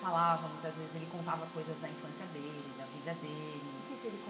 Falava muitas vezes, ele contava coisas da infância dele, da vida dele. O que que ele